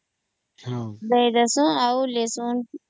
ଆଉ ରସୁଣ